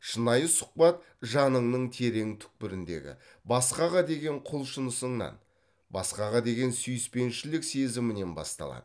шынайы сұхбат жаныңның терең түкпіріндегі басқаға деген құлшынысыңнан басқаға деген сүйіспеншілік сезімінен басталады